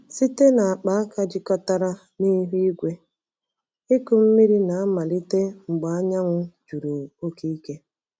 Site na akpaaka jikọtara na ihu igwe, ịkụ mmiri na-amalite mgbe anyanwụ juru oke ike.